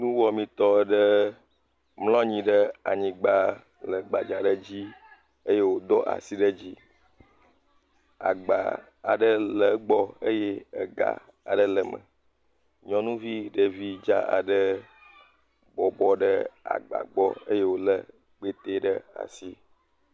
Nuwɔametɔ ɖe mlɔ anyi ɖe anyigba le gbadzã ale dzi eye wo do asi ɖe dzi. Agba aɖe le egbɔ eye ega aɖe le eme. Nyɔnuvi ɖevi dzã aɖe bɔbɔ ɖe agba gbɔ eye wo lé kpete ɖe asi.